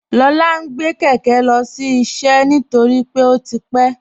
Lọla ǹ gbẹ̀ kẹkẹ̀ lọ́sí iṣẹ́ nítorí pé ó ti pẹ̀.